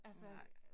Nej